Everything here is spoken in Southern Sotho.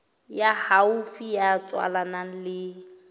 ya haufi ya tswalanang le